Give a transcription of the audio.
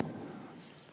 Vastake.